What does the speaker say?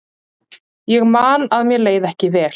Ég man að mér leið ekki vel.